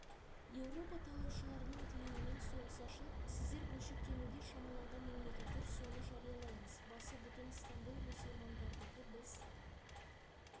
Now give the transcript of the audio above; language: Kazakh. еуропа талаушыларының тілеуімен соғыс ашылып сіздер бөлшектенуге шамаланған мемлекеттер соны жариялаймыз басы бүтін стамбул мұсылмандардікі біз